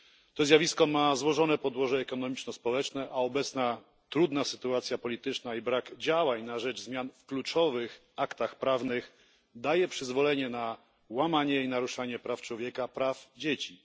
To zjawisko ma złożone podłoże ekonomiczno społeczne, a obecna trudna sytuacja polityczna i brak działań na rzecz zmian w kluczowych aktach prawnych daje przyzwolenie na łamanie praw człowieka i praw dzieci.